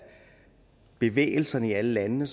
bevægelserne i alle landene